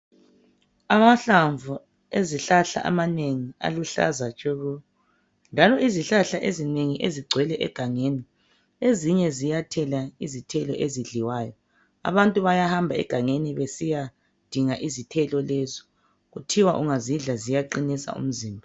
Amahlamvu ezihlahla amanengi aluhlaza tshoko njalo izihlahla ezinengi ezigcwele egangeni ezinye ziyathela izithelo ezidliwayo. Abantu bayahamba egangeni besiya dinga izithelo lezo. Kuthiwa ungazidla ziyaqinisa umzimba.